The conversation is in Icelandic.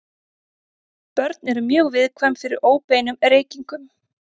Börn eru mjög viðkvæm fyrir óbeinum reykingum.